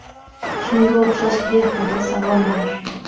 Shunga o‘xshash behuda savollar.